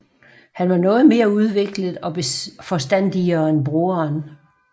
Han var noget mere udviklet og forstandigere end broderen